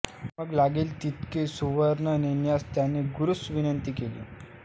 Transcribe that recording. मग लागेल तितके सुवर्ण नेण्यास त्याने गुरूस विनंति केली